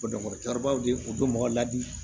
Dɔnku cɛkɔrɔbaw de ye u bɛ mɔgɔ ladi